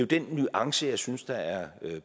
den nuance jeg synes der er